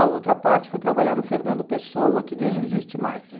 A outra parte foi trabalhar no Fernando Pessoa, que nem existe mais.